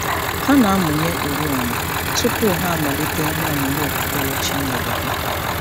Ha na-amụnye oriọna tụpụ ha amalite ihe ọmụmụ okpukperechi mgbede ha.